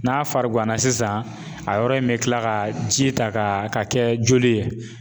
N'a fariganna sisan a yɔrɔ in bɛ tila ka ji ta ka kɛ joli ye